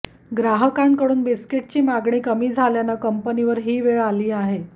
ग्राहकांकडून बिस्किटाची मागणी कमी झाल्यानं कंपनीवर ही वेळ आली आहे